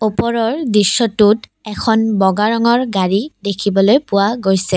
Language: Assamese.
ওপৰৰ দৃশ্যটোত এখন বগা ৰঙৰ গাড়ী দেখিবলৈ পোৱা গৈছে।